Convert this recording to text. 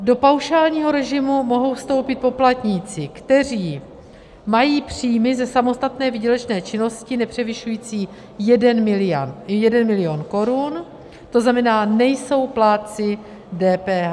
Do paušálního režimu mohou vstoupit poplatníci, kteří mají příjmy ze samostatné výdělečné činnosti nepřevyšující 1 milion korun, to znamená, nejsou plátci DPH.